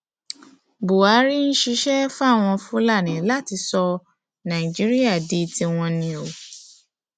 buhari ń ṣiṣẹ fáwọn fúlàní láti sọ nàìjíríà di tiwọn ni o